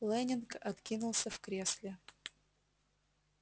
лэннинг откинулся в кресле